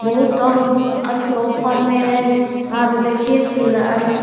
बहुत औ अथी ऑफर में है वहाँ पे देखिये सिलाई म --